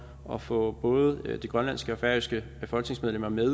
at få både de grønlandske og færøske folketingsmedlemmer med i